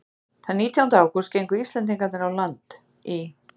Þann nítjánda ágúst gengu Íslendingarnir á land í